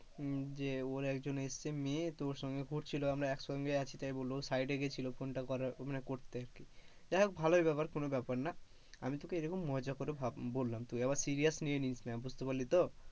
যে ওর একজন এসেছে মেই তো ওর সঙ্গে ঘুরছিল, আমরা একসঙ্গে আছি তাই বললো side এ গেছিলো phone টা করতে আরকি, যাই হোক ভালোই বেপার কোনো বেপার না, আমি তোকে এরকম মজা করে বললাম তুই আবার serious নিয়ে নিস না বুঝতে পারলি তো,